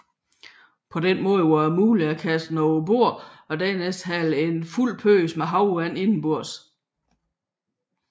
På den måde var det muligt at kaste den overbord og dernæst hale en fyldt pøs med havvand indenbords